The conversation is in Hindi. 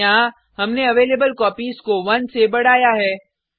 यहाँ हमने अवेलेबलकोपीज को 1 से बढ़ाया है